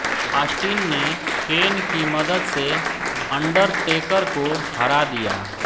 Austin ने Kane की मदद से अंडरटेकर को हरा दिया